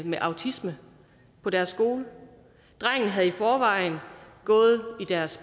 med autisme på deres skole drengen havde i forvejen gået i deres